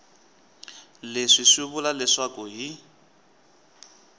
leswi swi vula leswaku hi